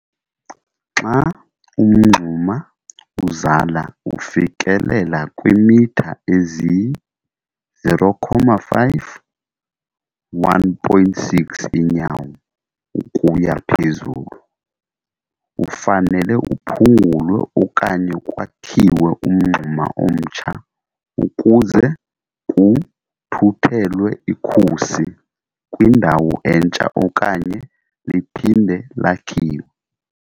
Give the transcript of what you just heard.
Xa umngxuma uzala ufikelela kwiimitha eziyi-0.5 1.6 iinyawo ukuya phezulu, ufanele uphungulwe okanye kwakhiwe umngxuma omtsha kuze kuthuthelwe ikhusi kwindawo entsha okanye liphinde lakhiwe.